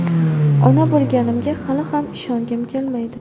Ona bo‘lganimga hali ham ishongim kelmaydi.